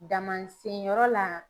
Dama sen yɔrɔ la